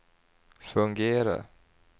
fungera